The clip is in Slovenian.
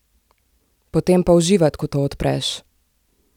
Potem pa uživat, ko to odpreš!